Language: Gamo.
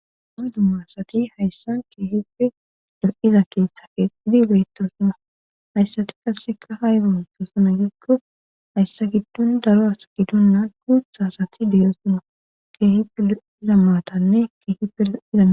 Adu ma asati hayssan keehipfe do7iza keeshtha kee idi beytto suma hayssati kasseka hay gamtosana gikko hayssa giddon daro as giddonnaa guutha asati deyo suma keehife lo7iza maatanne keehi peraizaa